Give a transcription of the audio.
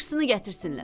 Yaxşısını gətirsinlər.